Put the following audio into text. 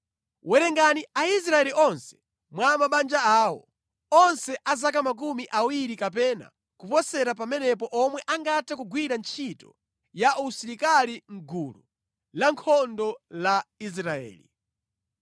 “Werengani Aisraeli onse mwa mabanja awo, onse a zaka makumi awiri kapena kuposera pamenepo omwe angathe kugwira ntchito ya usilikali mʼgulu lankhondo la Israeli.”